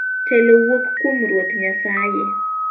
Telo wuok kuom Ruoth Nyasaye.